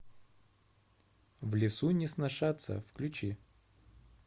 в лесу не сношаться включи